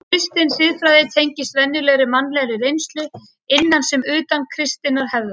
Kristin siðfræði tengist venjulegri mannlegri reynslu, innan sem utan kristinnar hefðar.